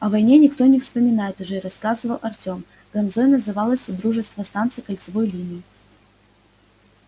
о войне никто и не вспоминает уже рассказывал артём ганзой называлось содружество станций кольцевой линии